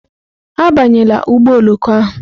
Abanyela ụgbọ oloko ahụ!